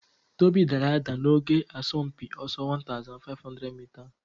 Tobi daara ada n'oge asọmpi ọsọ 1500 mita